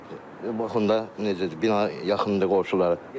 Bax onda necədir bina yaxındır qonşulara.